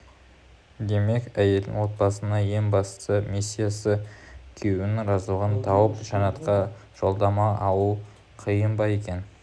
демек әйелдің отбасындағы ең басты миссиясы күйеуінің разылығын тауып жәннатқа жолдама алу қиын ба екен